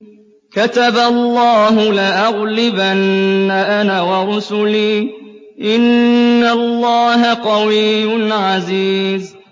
كَتَبَ اللَّهُ لَأَغْلِبَنَّ أَنَا وَرُسُلِي ۚ إِنَّ اللَّهَ قَوِيٌّ عَزِيزٌ